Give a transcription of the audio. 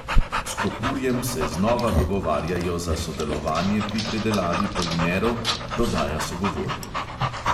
S kopurjem se znova dogovarjajo za sodelovanje pri predelavi polimerov, dodaja sogovornik.